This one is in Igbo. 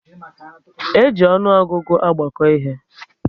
E ji ọnụọgụgụ agbako ihe